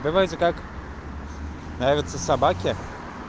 давайте как нравятся собаки